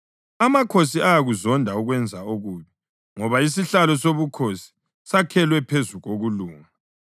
Amakhosi ayakuzonda ukwenza okubi, ngoba isihlalo sobukhosi sakhelwe phezu kokulunga.